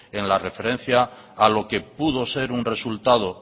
en la referencia a lo que pudo ser un resultado